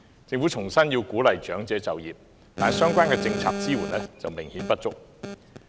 政府重申要鼓勵長者就業，但相關政策支援明顯不足。